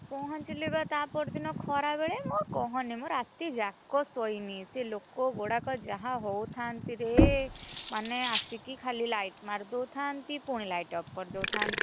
ପହଁଚିଲି ବା ତା ପରଦିନ ଖରାବେଳେ। କହନି ମୁଁ ରାତି, ଯାକ ଶୋଇନି ସେ ଲୋକ ଗୁଡାକ ଯାହା ହାଉଥାନ୍ତି ରେ! ମାନେ ଆସିକି ଖାଲି light ମାରିଦଉଥାନ୍ତି ପୁଣି light off କରି ଦଉଥାନ୍ତି।